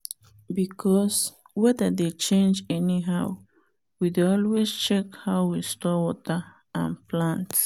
because weather dey change anyhow we dey always check how we store water and plant.